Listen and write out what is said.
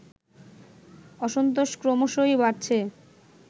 অসন্তোষ ক্রমশই বাড়ছে